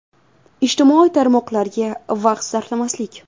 Ijtimoiy tarmoqlarga vaqt sarflamaslik.